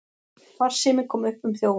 Farsími kom upp um þjófinn